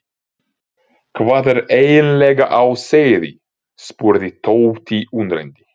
Hvað er eiginlega á seyði? spurði Tóti undrandi.